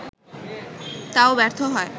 তাও ব্যর্থ হয়